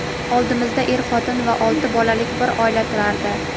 Oldimizda er-xotin va olti bolalik bir oila turardi.